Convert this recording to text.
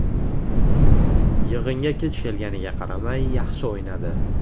Yig‘inga kech kelganiga qaramay yaxshi o‘ynadi.